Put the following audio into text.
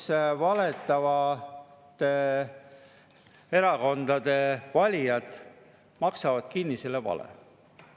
Las siis valetavate erakondade valijad maksavad kinni selle vale.